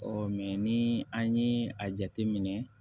ni an ye a jateminɛ